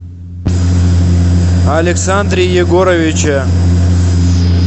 александре егоровиче